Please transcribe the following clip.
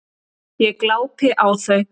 Ég glápi á þau.